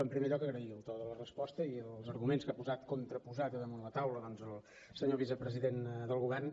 en primer lloc agrair el to de la resposta i els arguments que ha posat contraposat damunt la taula doncs el senyor vicepresident del govern